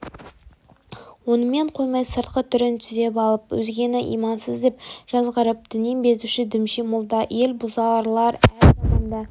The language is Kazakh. онымен қоймай сыртқы түрін түзеп алып өзгені имансыз деп жазғырып діннен бездіруші дүмше молда ел бұзарлар әр заманда